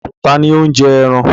Ta ni ó ń jẹ ẹran?